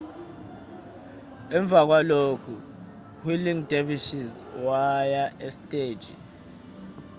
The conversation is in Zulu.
emva kwalokhuu-whirling dervishes waya esteji